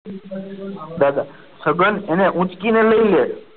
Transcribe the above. દાદા છગન એને ઊંચકીને લઈ લે.